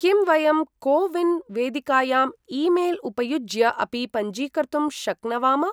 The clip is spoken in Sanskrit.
किं वयं को विन् वेदिकायाम् ई मेल् उपयुज्य अपि पञ्जीकर्तुं शक्नवाम?